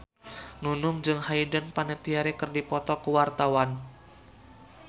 Nunung jeung Hayden Panettiere keur dipoto ku wartawan